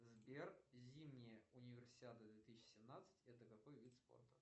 сбер зимняя универсиада две тысячи семнадцать это какой вид спорта